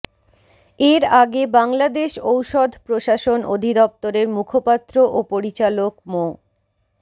এর আগে বাংলাদেশ ঔষধ প্রশাসন অধিদপ্তরের মুখপাত্র ও পরিচালক মো